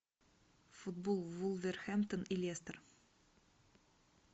футбол вулверхэмптон и лестер